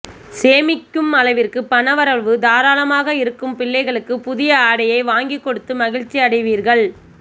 சேமிக்கும் அளவிற்கு பணவரவு தாராளமாக இருக்கும் பிள்ளைகளுக்கு புதிய ஆடையை வாங்கிக் கொடுத்து மகிழ்ச்சி அடைவீர்கள்